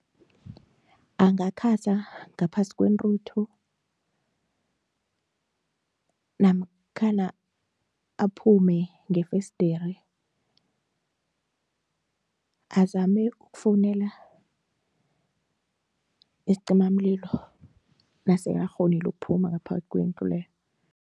Angakhasa ngaphasi kwentuthu namkhana aphume ngefesderi azame ukufowunela isicimamlilo nasekakghonile ukuphuma ngaphakathi kwendlu leyo.